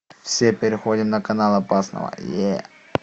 все переходим на калан опасного